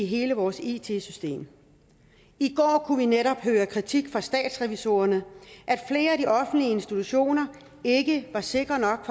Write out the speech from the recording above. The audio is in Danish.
hele vores it system i går kunne vi netop høre kritik fra statsrevisorerne af at flere af de offentlige institutioner ikke var sikre nok